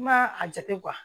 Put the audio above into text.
Kuma a jate